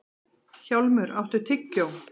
Hjálmur, áttu tyggjó?